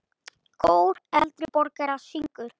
Kór eldri borgara syngur.